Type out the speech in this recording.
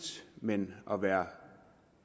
men at være